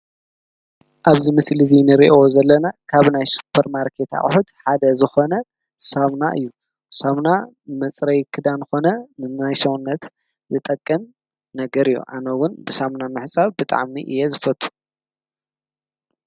ኣብ ሱፐርማርኬት ተቀሚጡ ዝርከብ ሳሙና ይበሃል። ንመሕፀቢ ክዳንን ሰውነት ይጠቅም።